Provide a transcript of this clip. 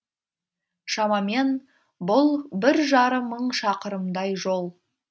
шамамен бұл бір жарым мың шақырымдай жол